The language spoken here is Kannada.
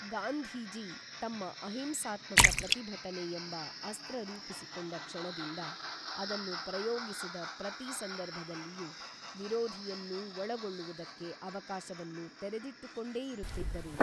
ಗಾಂಧೀಜಿ ತಮ್ಮ ಅಹಿಂಸಾತ್ಮಕ ಪ್ರತಿಭಟನೆಯೆಂಬ ಅಸ್ತ್ರರೂಪಿಸಿಕೊಂಡ ಕ್ಷಣದಿಂದ ಅದನ್ನು ಪ್ರಯೋಗಿಸಿದ ಪ್ರತೀ ಸಂದರ್ಭದಲ್ಲಿಯೂ ವಿರೋಧಿಯನ್ನೂ ಒಳಗೊಳ್ಳುವುದಕ್ಕೆ ಅವಕಾಶವನ್ನು ತೆರೆದಿಟ್ಟುಕೊಂಡೇ ಇರುತ್ತಿದ್ದರು.